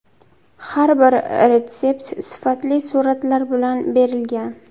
Har bir retsept sifatli suratlar bilan berilgan.